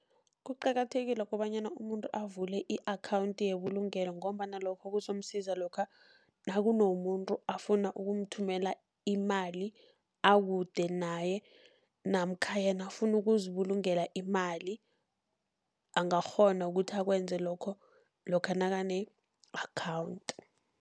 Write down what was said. Kuqakathekile kobanyana umuntu avule i-account yebulugelo, ngombana lokho kuzomsiza lokha nakunomuntu afuna ukumthumela imali akude naye, namkha yena afuna ukuzibulungela imali. Angakghona ukuthi akwenze lokho lokha nakane-account.